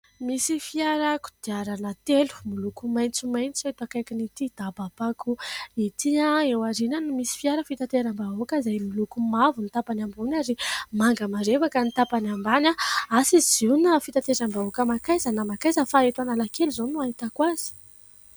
Misy fiara kodiarana telo miloka maintsomaintso eto akaikin'ity daba-pako ity eo aorinany misy fiara fitateram-bahoaka izay miloko mavo ny tapany ambony ary manga marevaka ny tapany ambany asa izy io na fitateram-bahoaka makaiza na makaiza fa eto analakely izao no ahitako azy